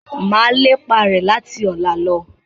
Mà lépa rẹ láti ọ̀la lọ